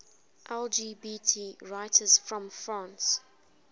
lgbt writers from france